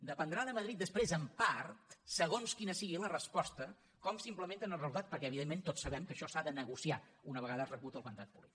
dependrà de madrid després en part segons quina sigui la resposta com s’implementa el resultat perquè evidentment tots sabem que això s’ha de negociar una vegada rebut el mandat polític